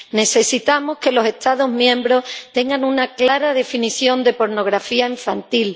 Necesitamos que los Estados miembros tengan una clara definición de pornografía infantil